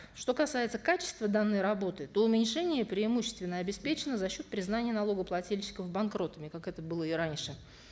что касается качества данной работы то уменьшение преимущественно обеспечено за счет признания налогоплательщиков банкротами как это было и раньше